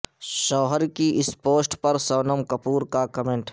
شوہر کی اس پوسٹ پر سونم کپور کا کمینٹ